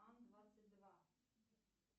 ан двадцать два